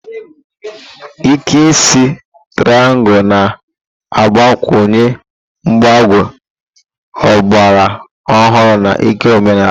Ike isi triangu na-agbakwunye mgbagọ ọgbara ọhụrụ na ịke omenala.